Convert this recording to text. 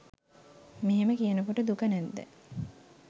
මෙහෙම කියනකොට දුක නැද්ද?